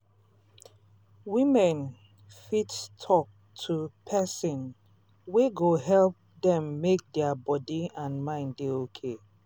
women fit talk to person wey go help dem make their body and mind dey okay.